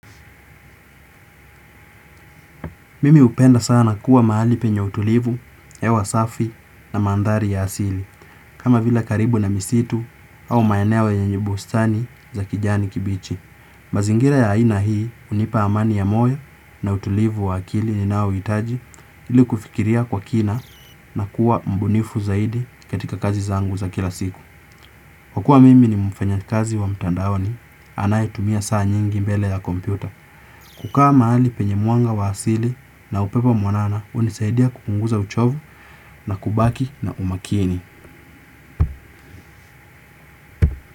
Mimi hupenda sana kuwa mahali penye utulivu hewa safi na maandhari ya asili. Kama vile karibu na misitu au maeneo yenye bustani za kijani kibichi. Mazingira ya aina hii hunipa amani ya moyo na utulivu wa akili ninaouhitaji ili kufikiria kwa kina na kuwa mbunifu zaidi katika kazi zangu za kila siku. Kwa kuwa mimi ni mfanyakazi wa mtandaoni anaye tumia saa nyingi mbele ya kompyuta. Kukaa mahali penye mwanga wa asili na upepo mwanana hunisaidia kupunguza uchovu na kubaki na umakini.